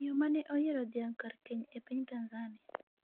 Miyo mane oyiero dhiang' kar keny e piny Tanzania